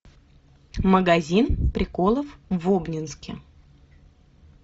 магазин приколов в обнинске